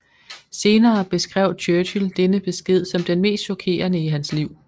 Senere beskrev Churchill denne besked som den mest chokerende i hans liv